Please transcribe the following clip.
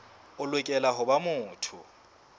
o lokela ho ba motho